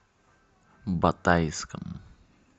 батайском